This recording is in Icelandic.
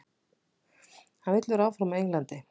Hann vill vera áfram á Englandi.